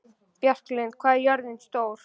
Bjarklind, hvað er jörðin stór?